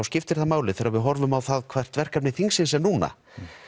skiptir það máli þegar við horfum á það hvert verkefni þingsins er núna